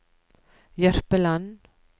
Jørpeland